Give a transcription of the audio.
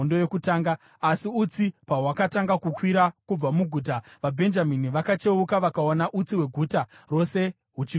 Asi utsi pahwakatanga kukwira kubva muguta, vaBhenjamini vakacheuka vakaona utsi hweguta rose huchikwira kudenga.